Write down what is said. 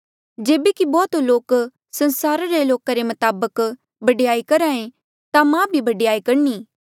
जेबे कि बौह्त लोक संसारा रे लोका रे मताबक बडयाई करहा ऐें ता मां भी बडयाई करणी